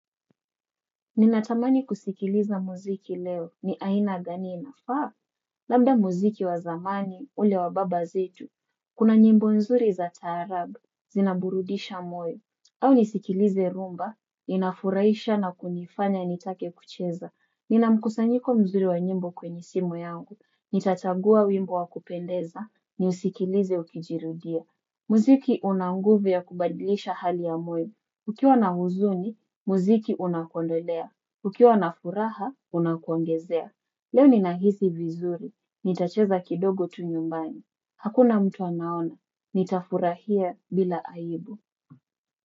Ninatamani kusikiliza muziki leo. Ni aina gani inafaa? Labda muziki wa zamani, ule wa baba zetu. Kuna nyimbo nzuri za taarabu, zinaburudisha moyo. Au nisikilize rumba, inafurahisha na kunifanya nitake kucheza. Nina mkusanyiko mzuri wa nyimbo kwenye simu yangu. Nitachagua wimbo wa kupendeza, nisikilize ukijirudia. Muziki una nguvu ya kubadilisha hali ya moyo. Ukiwa na huzuni, muziki unakuondolea. Ukiwa na furaha, unakuongezea. Leo ninahisi vizuri. Nitacheza kidogo tu nyumbani. Hakuna mtu anaona. Nitafurahia bila aibu.